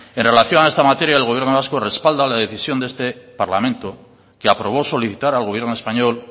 en relación a esta materia el gobierno vasco respalda la decisión de este parlamento que aprobó solicitar al gobierno español